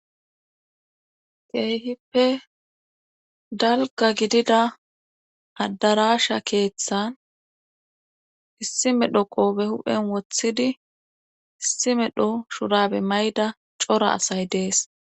keehippe dalga gidida addarasha keeththan issi medho qoobe huphen wothidi issi medho shurabe mayda cora asay dees